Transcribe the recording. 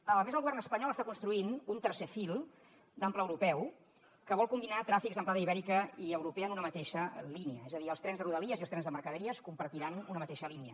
a més el govern espanyol està construint un tercer fil d’ample europeu que vol combinar tràfics d’amplada ibèrica i europea en una mateixa línia és a dir els trens de rodalies i els trens de mercaderies compartiran una mateixa línia